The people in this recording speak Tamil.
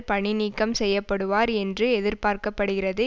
பணி நீக்கம் செய்ய படுவர் என்று எதிர்பார்க்க படுகிறது